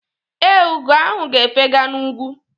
Ee, ugo ahụ ga-efega n’ugwu.